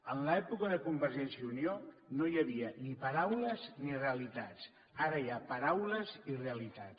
en l’època de convergència i unió no hi havia ni paraules ni realitats ara hi ha paraules i realitats